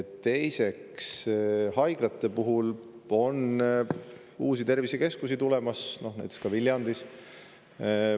Teiseks, haiglatest rääkides: uusi tervisekeskusi on tulemas, näiteks Viljandis.